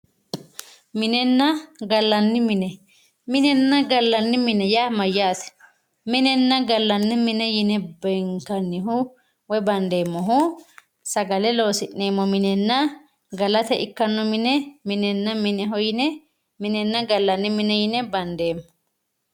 Minenna gallanni mine minenna gallanni mine yaa mayyate minenna gallanni mine yine beenkannihu woyi bandeemmohu sagale loosi'neemmo minenna galate ikkanno mine minehonna gallanni mine yine bandeemmo